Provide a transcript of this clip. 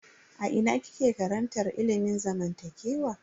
A ina kike karantar ilimin zamantakewa?